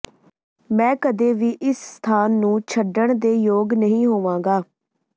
ਮੈਂ ਕਦੇ ਵੀ ਇਸ ਸਥਾਨ ਨੂੰ ਛੱਡਣ ਦੇ ਯੋਗ ਨਹੀਂ ਹੋਵਾਂਗਾ